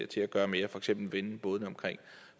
til at gøre mere for eksempel vende bådene omkring